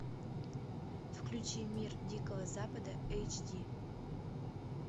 включи мир дикого запада эйч ди